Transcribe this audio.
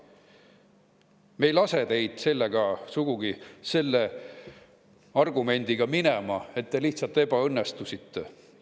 Me ei lase teid sugugi selle argumendiga minema, et te lihtsalt ebaõnnestusite.